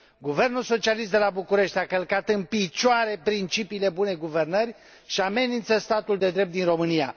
Guvernul socialist de la București a călcat în picioare principiile bunei guvernări și amenință statul de drept din România.